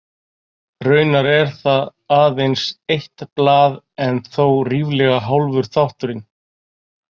Raunar er það aðeins eitt blað en þó ríflega hálfur þátturinn.